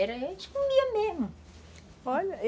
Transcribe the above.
Era a gente comia mesmo. Olha